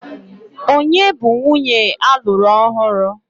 Ònye bụ nwunye alụru ọhụrụ?